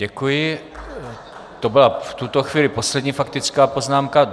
Děkuji, to byla v tuto chvíli poslední faktická poznámka.